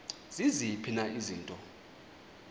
ziziphi na izinto